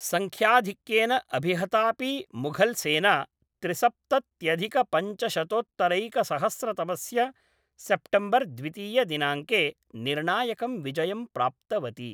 सङ्ख्याधिक्येन अभिहतापि मुघल्सेना त्रिसप्तत्यधिकपञ्चशतोत्तरैकसहस्रतमस्य सेप्टेम्बर् द्वितीयदिनाङ्के निर्णायकं विजयं प्राप्तवती।